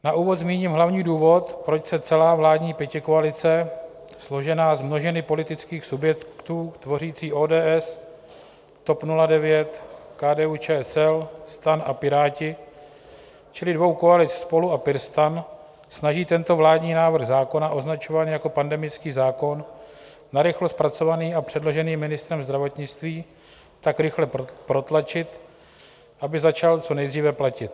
Na úvod zmíním hlavní důvod, proč se celá vládní pětikoalice, složená z množiny politických subjektů tvořící ODS, TOP 09, KDU-ČSL, STAN a Piráti, čili dvou koalic Spolu a PirSTAN, snaží tento vládní návrh zákona označovaný jako pandemický zákon, narychlo zpracovaný a předložený ministrem zdravotnictví, tak rychle protlačit, aby začal co nejdříve platit.